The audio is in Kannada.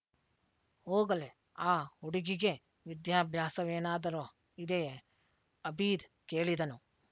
ಹೋಗಲಿ ಆ ಹುಡುಗಿಗೆ ವಿದ್ಯಾಭ್ಯಾಸವೇನಾದರೂ ಇದೆಯೇ ಅಬೀದ್ ಕೇಳಿದನು